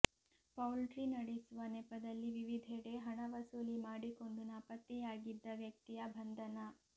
poultry ನಡೆಸುವ ನೆಪದಲ್ಲಿ ವಿವಿಧೆಡೆ ಹಣ ವಸೂಲಿ ಮಾಡಿಕೊಂಡು ನಾಪತ್ತೆಯಾಗಿದ್ದ ವ್ಯಕ್ತಿಯ ಬಂಧನ